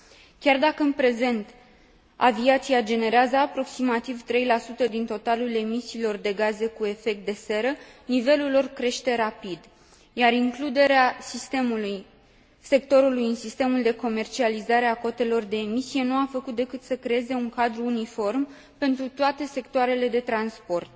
Chiar dacă în prezent aviația generează aproximativ 3 din totalul emisiilor de gaze cu efect de seră, nivelul lor crește rapid, iar includerea sectorului în sistemul de comercializare a cotelor de emisie nu a făcut decât să creeze un cadru uniform pentru toate sectoarele de transport.